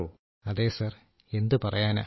രാജേഷ് പ്രജാപതി അതേ സർ എന്തുപറയാനാ